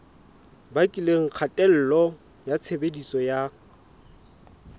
bakileng kgatello ya tshebediso ya